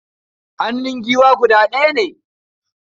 Hannun giwa guda ɗaya ne.